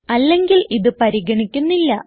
അല്ലെങ്കിൽ ഇത് പരിഗണിക്കുന്നില്ല